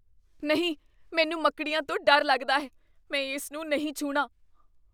ਨਹੀਂ! ਮੈਨੂੰ ਮੱਕੜੀਆਂ ਤੋਂ ਡਰ ਲੱਗਦਾ ਹੈ। ਮੈਂ ਇਸ ਨੂੰ ਨਹੀਂ ਛੂਹਣਾ ।